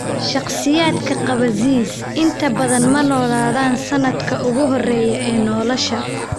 Shakhsiyaadka qaba ZS inta badan ma noolaadaan sanadka ugu horeeya ee nolosha.